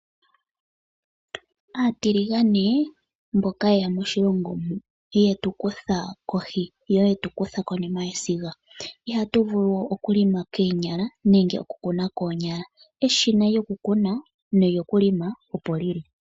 Aatiligane mboka yeya moshilongo mu, yetukutha kohi yo yetukutha konima yesiga, ihatuvulu we okulima koonyala nenge okukuna koonyala, eshina lyokukuna nolyokulima opo lili.